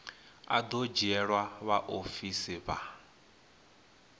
a do dzhielwa vhaofisi vha